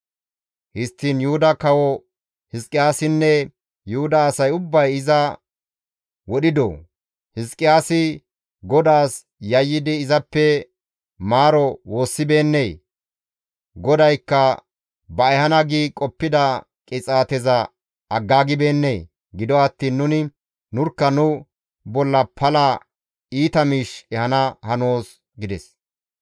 «Histtiin, Yuhuda Kawo Hizqiyaasinne Yuhuda asay ubbay iza wodhidoo? Hizqiyaasi GODAAS yayyidi izappe maaro woossibeennee? GODAYKKA ba ehana gi qoppida qixaateza aggaagibeennee? Gido attiin nuni nurkka nu bolla pala iita miish ehana hanoos» gides.